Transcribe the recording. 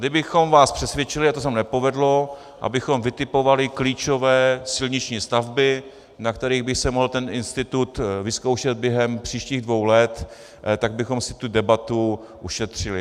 Kdybychom vás přesvědčili, a to se nám nepovedlo, abychom vytipovali klíčové silniční stavby, na kterých by se mohl ten institut vyzkoušet během příštích dvou let, tak bychom si tu debatu ušetřili.